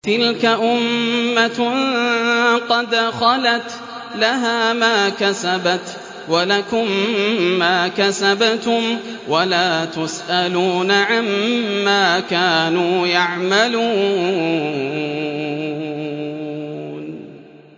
تِلْكَ أُمَّةٌ قَدْ خَلَتْ ۖ لَهَا مَا كَسَبَتْ وَلَكُم مَّا كَسَبْتُمْ ۖ وَلَا تُسْأَلُونَ عَمَّا كَانُوا يَعْمَلُونَ